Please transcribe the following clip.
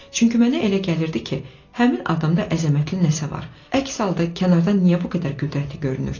Çünki mənə elə gəlirdi ki, həmin adamda əzəmətli nəsə var, əks halda kənardan niyə bu qədər qüdrətli görünürdü?